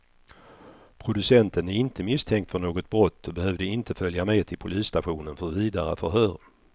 Producenten är inte misstänkt för något brott och behövde inte följa med till polisstationen för vidare förhör.